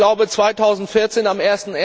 Ich glaube, 2014, am